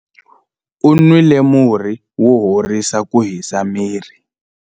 u nwile murhi wo horisa ku hisa miri